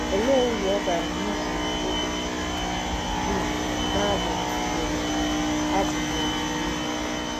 Olee uru ọ bara n'iji obi dum na-abụ um abụ n'ọmụmụ ihe?